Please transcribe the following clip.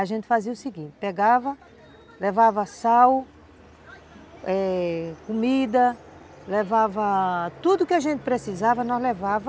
A gente fazia o seguinte, pegava, levava sal, eh, comida, levava tudo que a gente precisava, nós levava.